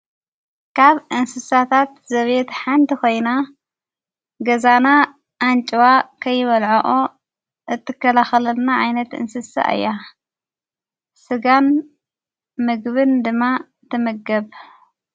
ካብ እንስሳታት ዘብት ሓንቲ ኾይና ገዛና ኣንጭዋ ከይበልዐኦ እትከላኸለልና ዓይነት እንስሥ እያ ሥጋን ምግብን ድማ ተመገብ።